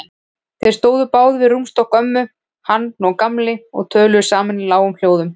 Þeir stóðu báðir við rúmstokk ömmu, hann og Gamli, og töluðu saman í lágum hljóðum.